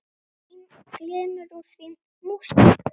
Það glymur úr því músík.